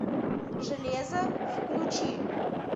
железо включи